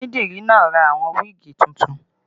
Onídìrí náà ra àwọn wíìgì tuntun